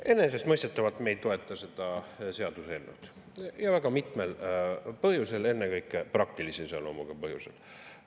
Enesestmõistetavalt me ei toeta seda seaduseelnõu, ja väga mitmel põhjusel, ennekõike praktilise iseloomuga põhjusel.